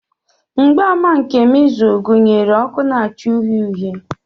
Mgbaàmà nke measles gụnyere ọkụ na-acha uhie uhie.